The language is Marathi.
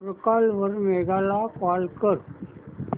ट्रूकॉलर वर मेघा ला कॉल कर